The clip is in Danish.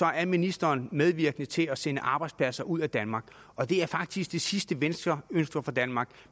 er ministeren medvirkende til at sende arbejdspladser ud af danmark og det er faktisk det sidste venstre ønsker for danmark